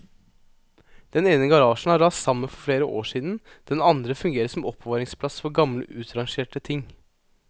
Den ene garasjen har rast sammen for flere år siden, den andre fungerer som oppbevaringsplass for gamle utrangerte ting.